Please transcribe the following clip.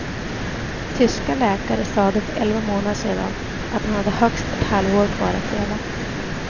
Tyska läkare sade för elva månader sedan att han hade högst ett halvår kvar att leva.